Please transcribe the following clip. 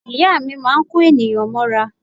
Ìyá mi máa ń kó ènìyàn mọ́ra.